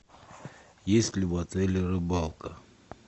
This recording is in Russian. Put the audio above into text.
есть ли в отеле рыбалка